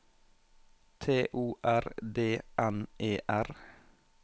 T O R D N E R